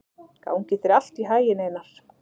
Gangi þér allt í haginn, Einar.